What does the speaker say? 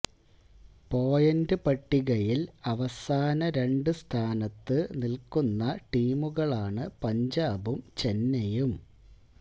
point പട്ടികയില് അവസാന രണ്ട് സ്ഥാനത്ത് നില്ക്കുന്ന ടീമുകളാണ് പഞ്ചാബും ചെന്നൈയും